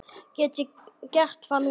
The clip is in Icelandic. Get ég gert það núna?